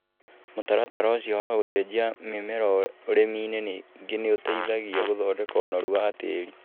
Mũtaratara ũcio wa gũcenjia mĩmera ũrimi-inĩ ningĩ nĩ uteĩthagia gũthondeka ũnoru wa tĩĩri